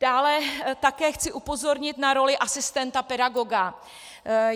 Dále také chci upozornit na roli asistenta pedagoga.